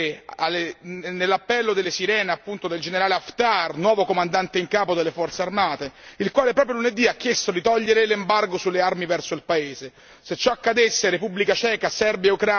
Ecco perché non dobbiamo assolutamente cadere nell'appello delle sirene del generale Haftar, nuovo comandante in capo delle forze armate, il quale proprio lunedì ha chiesto di togliere l'embargo sulle armi verso il paese.